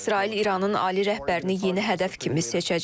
İsrail İranın ali rəhbərini yeni hədəf kimi seçəcək?